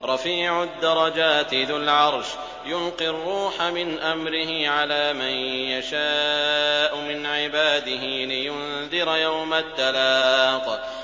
رَفِيعُ الدَّرَجَاتِ ذُو الْعَرْشِ يُلْقِي الرُّوحَ مِنْ أَمْرِهِ عَلَىٰ مَن يَشَاءُ مِنْ عِبَادِهِ لِيُنذِرَ يَوْمَ التَّلَاقِ